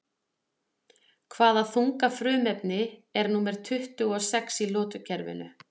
Hvaða þunga frumefni er númer tuttugu og sex í lotukerfinu?